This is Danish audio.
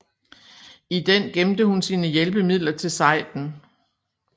I den gemte hun sine hjælpemidler til sejden